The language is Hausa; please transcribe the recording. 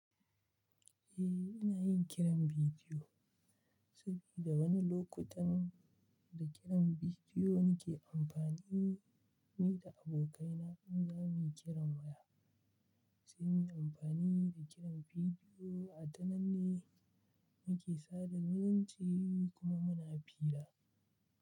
Eh, ina yin kiran bidiyo. Sabida wani lokutan da kiran bidiyo nike amfani ni da abokaina inza muyi kiran waya, sai muyi amfani da kiran bidiyo. A wannan ne muke sada zumunci kuma muna fira.